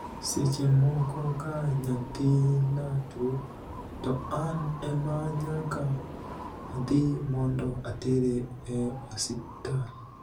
Seche moko ka niyathinia tuwo, to ani ema niyaka adhi monido atere e osiptal.'